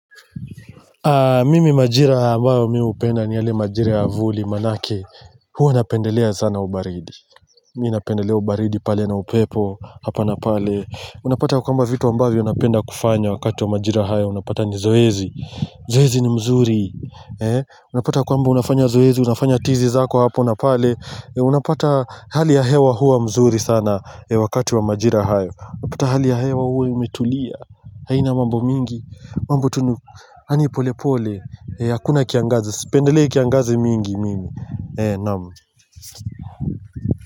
Mimi majira ambayo mi upenda ni yale majira avuli manake huo napendelea sana ubaridi Mi napendelea ubaridi pale na upepo hapa na pale Unapata kwa ambayo vitu ambayo unapenda kufanya wakati wa majira haya Unapata ni zoezi Zoezi ni mzuri Unapata kwamba unafanya zoezi, unafanya tizi zako hapa na pale Unapata hali ya hewa hua mzuri sana wakati wa majira haya Unapata hali ya hewa huo umetulia hai na mambo mingi mambu tunu, yaani pole pole, hakuna kiangazi, spendelei kiangazi mingi mimi, namu.